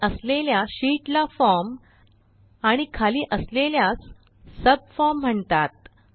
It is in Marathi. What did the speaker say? वर असलेल्या शीत ला फॉर्म आणि खाली असलेल्यास सबफॉर्म म्हणतात